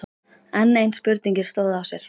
Enn ein spurningin stóð á sér.